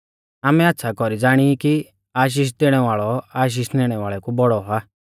आमै आच़्छ़ा कौरी ज़ाणी ई कि आशीष देणै वाल़ौ आशीष निणै वाल़ै कु बौड़ौ आ